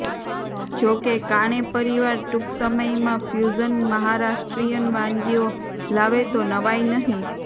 જોકે કાણે પરિવાર ટૂંક સમયમાં ફ્યુઝન મહારાષ્ટ્રિયન વાનગીઓ લાવે તો નવાઈ નહીં